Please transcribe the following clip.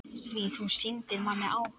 Því þú sýndir manni áhuga.